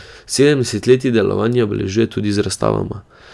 Sedem desetletij delovanja obeležujejo tudi z razstavama.